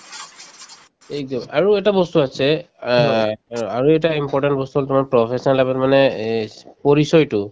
এইটো আৰু এটা বস্তু আছে অ অ আৰু এটা important বস্তু হল তোমাৰ professional life ত মানে এই পৰিচয়টো